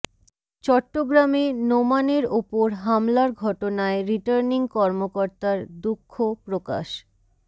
চট্টগ্রামে নোমানের ওপর হামলার ঘটনায় রিটার্নিং কর্মকর্তার দুঃখ প্রকাশ